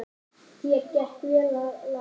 Þér gekk vel að læra.